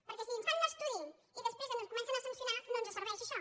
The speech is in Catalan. perquè si ens fan un estudi i després ens comencen a sancionar no ens serveix això